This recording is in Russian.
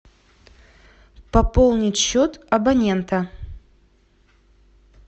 пополнить счет абонента